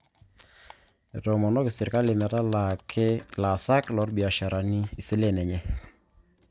Ketoomonoki sirkali metalaaki ilaasak lebiashara isilen enye